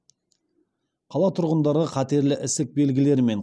қала тұрғындары қатерлі ісік белгілерімен